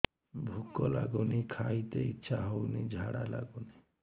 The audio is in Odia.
ଭୁକ ଲାଗୁନି ଖାଇତେ ଇଛା ହଉନି ଝାଡ଼ା ଲାଗୁନି